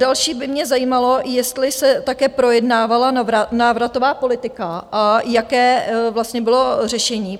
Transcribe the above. Další by mě zajímalo, jestli se také projednávala návratová politika a jaké vlastně bylo řešení?